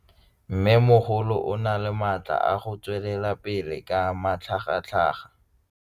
Mmêmogolo o na le matla a go tswelela pele ka matlhagatlhaga.